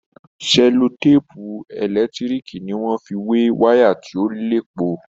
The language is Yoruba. Sẹlotèèpù ẹlẹ́tíriììkì ni wọ́n fi wé wàyà tí ò léèpo